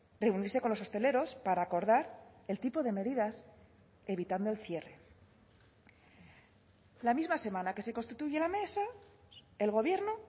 reunirse con los hosteleros para acordar el tipo de medidas evitando el cierre la misma semana que se constituye la mesa el gobierno